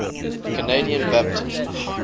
canadian baptists